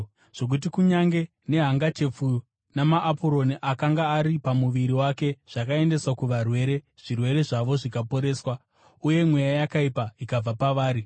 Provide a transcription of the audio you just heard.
zvokuti kunyange nehangachepfu namaapuroni akanga ari pamuviri wake zvakaendeswa kuvarwere, zvirwere zvavo zvikaporeswa uye mweya yakaipa ikabva pavari.